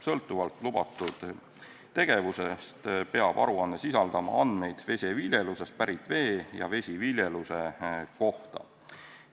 Sõltuvalt lubatud tegevusest peab aruanne sisaldama andmeid vesiviljelusest pärit vee ja vesiviljeluse kohta.